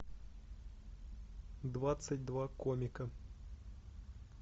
двадцать два комика